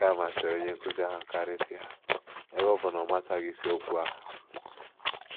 Nke a masịrị onye nkụzi ahụ karịsịa, ebe ọ bụ na ọ machaghị isiokwu ahụ.